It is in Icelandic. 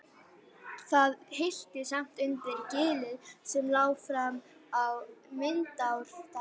Það hillti samt undir gilið sem lá fram á Vindárdal.